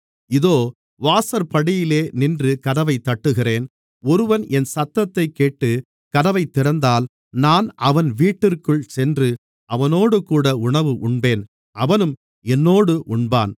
இதோ வாசற்படியிலே நின்று கதவைத் தட்டுகிறேன் ஒருவன் என் சத்தத்தைக்கேட்டு கதவைத் திறந்தால் நான் அவன் வீட்டிற்குள் சென்று அவனோடுகூட உணவு உண்பேன் அவனும் என்னோடு உண்பான்